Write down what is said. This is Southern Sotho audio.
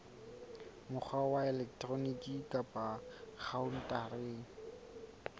mokgwa wa elektroniki kapa khaontareng